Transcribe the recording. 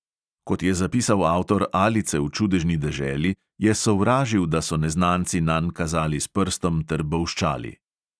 Kot je zapisal avtor alice v čudežni deželi, je sovražil, da so neznanci nanj kazali s prstom ter bolščali.